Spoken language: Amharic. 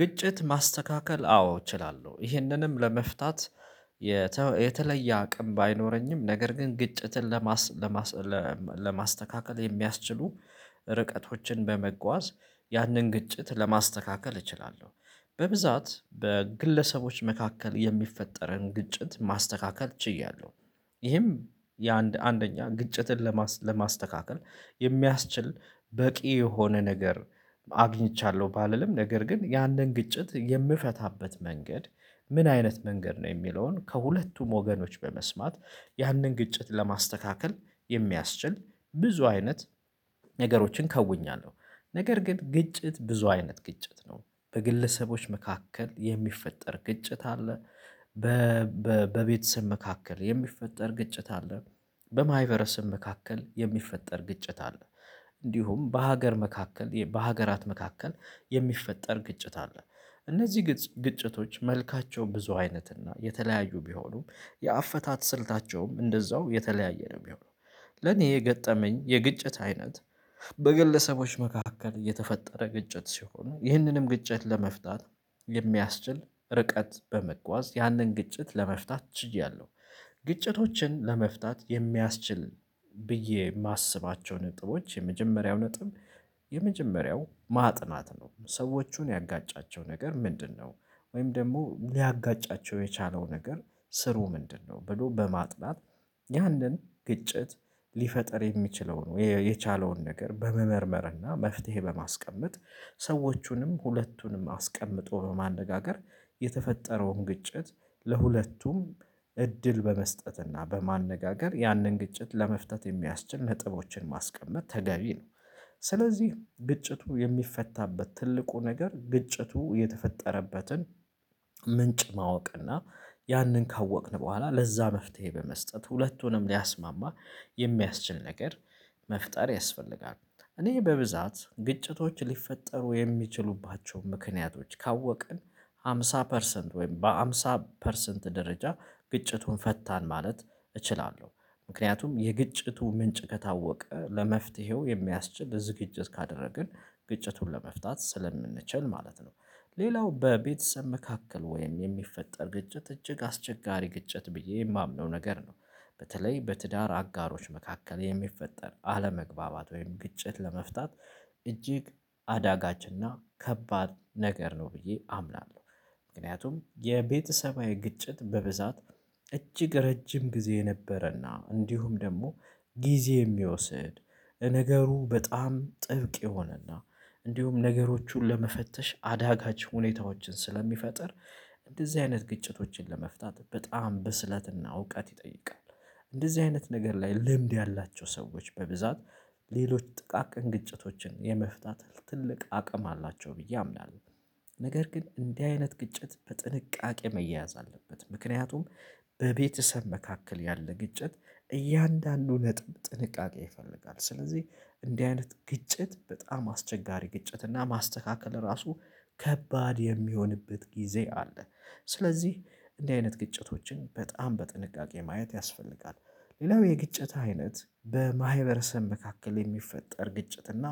ግጭት ማስተካከል አዎ እችላለሁ ይህንንም ለመፍታት የተለየ አቅም ባይኖረኝም ነገር ግን ግጭትን ለማስ ለማስተካከል የሚያስችሉ ርቀቶችን በመጓዝ ያንን ግጭት ለማስተካከል እችላለሁ። በብዛት በግለሰቦች መካከል የሚፈጠረን ግጭት ማስተካከል ችያለሁ። ይህም የአንድ አንደኛ ግጭትን ለማስተካከል የሚያስችል በቂ የሆነ ነገር አግኝቻለሁ ባልልም ነገር ግን ያንን ግጭት የምፈታበት መንገድ ምን አይነት መንገድ ነው የሚለውን ከሁለቱም ወገኖች በመስማት ያንን ግጭት ለማስተካከል የሚያስችል ብዙ አይነት ነገሮችን ከውኛለሁ። ነገር ግን ግጭት ብዙ አይነት ግጭት ነው በግለሰቦች መካከል የሚፈጠር ግጭት አለ። በቤተሰብ መካከል የሚፈጠር ግጭት አለ። በማይቨረስም መካከል የሚፈጠር ግጭት አለ። እንዲሁም በሀገር መካከል በሀገራት መካከል የሚፈጠር ግጭት አለ። እነዚህ ግጭቶች መልካቸው ብዙ አይነት እና የተለያዩ ቢሆኑም የአፈታት ስልታቸውም እንደዛው የተለያየ ነው የሚሆነው። ለኔ የገጠመኝ የግጭት አይነት። በግለሰቦች መካከል የተፈጠረ ግጭት ሲሆን ይህንንም ግጭት ለመፍታት የሚያስችል ርቀት በመጓዝ ያንን ግጭት ለመፍታት ችያለሁ። ግጭቶችን ለመፍታት የሚያስችል ብዬ የማስባቸው ነጥቦች የመጀመሪያው ነጥብ የመጀመሪያው ማጥናት ነው ሰዎቹን ያጋጫቸው ነገር ምንድነው? ወይም ደግሞ ሊያጋጫቸው የቻለው ነገር ስሩ ምንድነው? ብሎ በማጥናት ያንን ግጭት ሊፈጥር የሚችለው የ የቻለውን ነገር በመመርመርና መፍትሄ በማስቀመጥ። ሰዎቹንም ሁለቱንም አስቀምጦ በማነጋገር የተፈጠረውን ግጭት ለሁለቱም እድል በመስጠትና በማነጋገር ያንን ግጭት ለመፍጠት የሚያስችል ነጥቦችን ማስቀመጥ ተገቢ ነው። ስለዚህ ግጭቱ የሚፈታበት ትልቁ ነገር ግጭቱ የተፈጠረበትን ምንጭ ማወቅና ያንን ካወቅን በኋላ ለዛ መፍትሄ በመስጠት ሁለቱንም ሊያስማማ የሚያስችል ነገር መፍጠር ያስፈልጋል። እኔ በብዛት ግጭቶች ሊፈጠሩ የሚችሉባቸውን ምክንያቶች ካወቅን ሃምሳ ፐርሰንት ወይም በሃምሳ ፐርሰንት ደረጃ ግጭቱን ፈታን ማለት እችላለሁ። ምክንያቱም የግጭቱ ምንጭ ከታወቀ ለመፍትሄው የሚያስችል ዝግጅት ካደረግን ግጭቱን ለመፍታት ስለምንችል ማለት ነው። ሌላው በቤተሰብ መካከል ወይም የሚፈጠር ግጭት እጅግ አስቸጋሪ ግጭት ብዬ የማምነው ነገር ነው። በተለይ በትዳር አጋሮች መካከል የሚፈጠር አለመግባባት ወይም ግጭት ለመፍታት እጅግ አዳጋችንና ከባድ ነገር ነው ብዬ አምናለሁ። ምክንያቱም የቤተሰባዊ ግጭት በብዛት እጅግ ረጅም ጊዜ የነበረና እንዲሁም ደግሞ ጊዜ የሚወስድ ነገሩ በጣም ጥብቅ የሆነና እንዲሁም ነገሮቹን ለመፈተሽ አዳጋች ሁኔታዎችን ስለሚፈጥር እንደዚህ አይነት ግጭቶችን ለመፍታት በጣም በስለትና እውቀት ይጠይቃል። እንደዚህ አይነት ነገር ላይ ልምድ ያላቸው ሰዎች በብዛት ሌሎች ጥቃቅን ግጭቶችን የመፍታት ትልቅ አቅም አላቸው ብዬ አምናለሁ። ነገር ግን እንዲህ አይነት ግጭት በጥንቃቄ መያያዝ አለበት። ምክንያቱም በቤተሰብ መካከል ያለ ግጭት እያንዳንዱ ነጥብ ጥንቃቄ ይፈልጋል። ስለዚህ እንዲህ አይነት ግጭት በጣም አስቸጋሪ ግጭት እና ማስተካከል ራሱ ከባድ የሚሆንበት ጊዜ አለ። ስለዚህ እንዲህ አይነት ግጭቶችን በጣም በጥንቃቄ ማየት ያስፈልጋል። ሌላው የግጭት አይነት በማህበረሰብ መካከል የሚፈጠር ግጭት እና